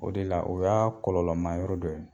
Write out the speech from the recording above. O de la o y'a kɔlɔlɔlɔma yɔrɔ dɔ ye.